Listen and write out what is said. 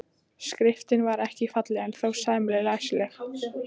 Skriftin var ekki falleg en þó sæmilega læsileg.